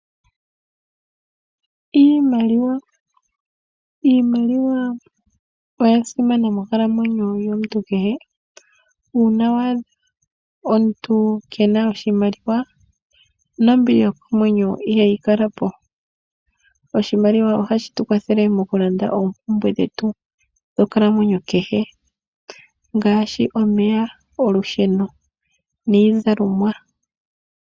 Iimaliwa oya simana moonkalamwenyo yomuntu kehe. Uuna waadha omuntu keena oshimaliwa nombili yokomwenyo ihayi kalapo. Oshimaliwa ohashi tu kwathele mokulanda oompumbwe dhetu dhonkalamwenyo kehe ngaashi omeya, olusheno niizalomwa.